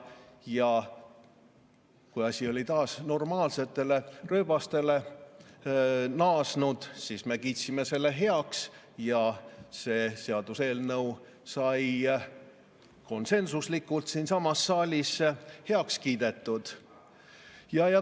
Ja kui asi oli taas normaalsetele rööbastele naasnud, siis me kiitsime selle heaks ja see seaduseelnõu sai konsensuslikult siinsamas saalis heaks kiidetud.